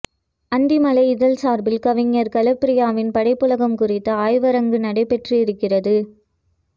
அந்திமழை இதழ் சார்பில் கவிஞர் கலாப்ரியாவின் படைப்புலகம் குறித்த ஆய்வரங்கு நடைபெறயிருக்கிறது